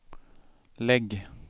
lägg